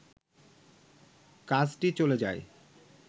কাজটি চলে যায়